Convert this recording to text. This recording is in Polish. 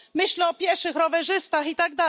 Myślę o pieszych, rowerzystach itd.